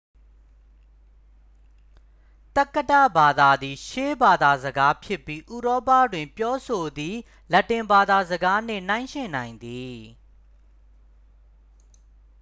သက္ကတဘာသာသည် ရှေးဘာသာစကားဖြစ်ပြီး ဥရောပတွင် ပြောဆိုသည့် လက်တင်ဘာသာစကားနှင့် နှိုင်းယှဉ်နိုင်သည်